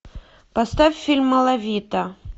поставь фильм малавита